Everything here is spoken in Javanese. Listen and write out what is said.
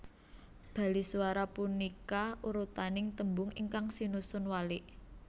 Baliswara punika urutaning tembung ingkang sinusun walik